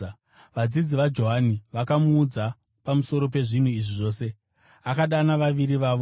Vadzidzi vaJohani vakamuudza pamusoro pezvinhu izvi zvose. Akadana vaviri vavo,